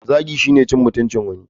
Zagi shine cin mutuncin wani.